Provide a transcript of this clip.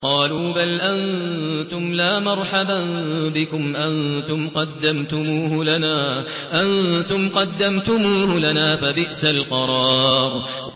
قَالُوا بَلْ أَنتُمْ لَا مَرْحَبًا بِكُمْ ۖ أَنتُمْ قَدَّمْتُمُوهُ لَنَا ۖ فَبِئْسَ الْقَرَارُ